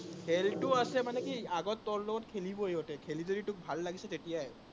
খেলটো আছে মানে কি, আগত তোৰ লগত খেলিবই সিহঁতে, খেলি যদি তোক ভাল লাগিছে তেতিয়াই